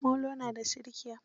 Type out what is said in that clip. Molo na da tsirkiya.